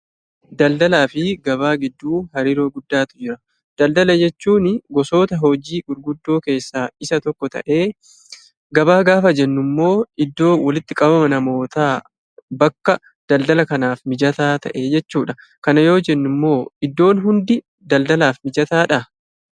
Daldalaa fi gabaa gidduu hariiroo guddaatu jira. Daldala jechuun gosoota hojii gurguddoo keessaa tokko ta'ee, gabaa gaafa jennu immoo iddoo walitti qabama namootaa bakka daldala kanaaf mijataa ta'e jechuudha. Kana yoo jennu immoo iddoon hundi daldalaaf mijataadhaa?